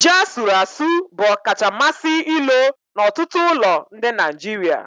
Ji asuru-asu bụ ọkacha mmasị ilo n'ọtụtụ ụlọ ndị Nigeria.